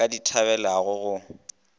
a ka di thabelago go